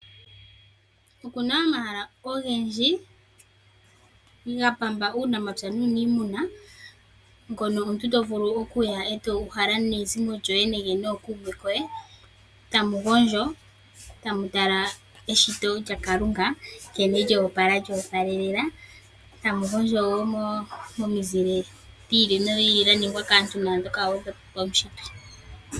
Oku na omahala ogendji ga pamba uunamapya nuuniimuna hono omuntu to vulu okuya e to uhala nezimo lyoye nenge nookuume koye. Tamu gondjo tamu tala eshito lyaKalunga nkene lyo opala lyo opalelela. Tamu gondjo momizile dhi ili nondi ili dha ningwa kaantu naandhoka wo paunshitwe.